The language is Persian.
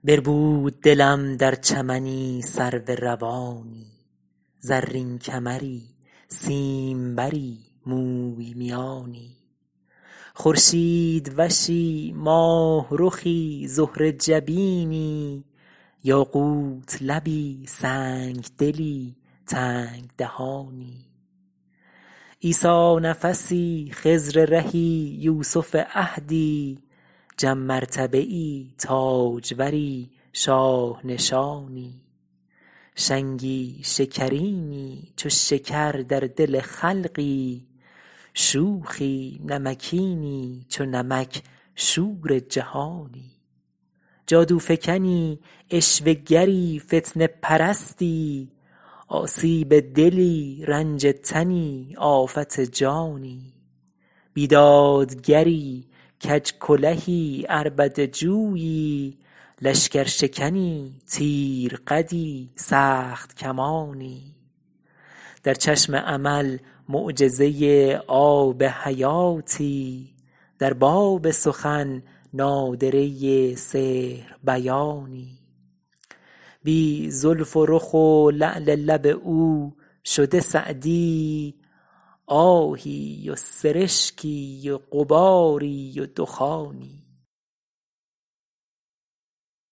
بربود دلم در چمنی سرو روانی زرین کمری سیمبری موی میانی خورشیدوشی ماهرخی زهره جبینی یاقوت لبی سنگدلی تنگ دهانی عیسی نفسی خضر رهی یوسف عهدی جم مرتبه ای تاجوری شاه نشانی شنگی شکرینی چو شکر در دل خلقی شوخی نمکینی چو نمک شور جهانی جادوفکنی عشوه گری فتنه پرستی آسیب دلی رنج تنی آفت جانی بیدادگری کج کلهی عربده جویی لشکرشکنی تیر قدی سخت کمانی در چشم امل معجزه آب حیاتی در باب سخن نادره سحر بیانی بی زلف و رخ و لعل لب او شده سعدی آهی و سرشکی و غباری و دخانی